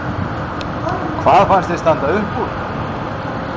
Þorbjörn Þórðarson: Hvað fannst þér standa upp úr?